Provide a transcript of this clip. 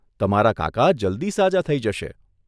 તમારા કાકા જલ્દી સાજા થઈ જશે.